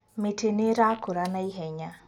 Mĩtĩ nĩĩrakũra na ihenya